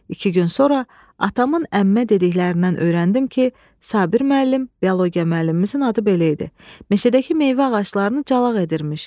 İki gün sonra atamın əmmə dediklərindən öyrəndim ki, Sabir müəllim, biologiya müəllimimizin adı belə idi, meşədəki meyvə ağaclarını calaq edirmiş.